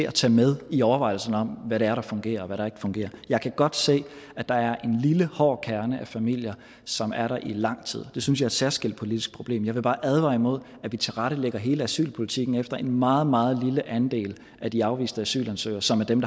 at tage med i overvejelserne om hvad det er der fungerer og hvad der ikke fungerer jeg kan godt se at der er en lille hård kerne af familier som er der i lang tid det synes jeg særskilt politisk problem jeg vil bare advare imod at vi tilrettelægger hele asylpolitikken efter en meget meget lille andel af de afviste asylansøgere som er dem